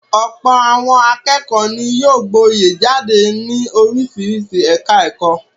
Ọ̀pọ̀ àwọn akẹ́kọ̀ọ́ ni yóò gboyè jáde ní oríṣiríṣi ẹ̀ka-ẹ̀kọ́.